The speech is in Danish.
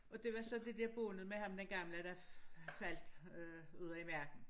Og det var så det dér båndet med ham den gamle der faldt øh ude i verden